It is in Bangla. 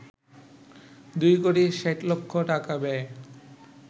২ কোটি ৬০ লক্ষ টাকা ব্যয়ে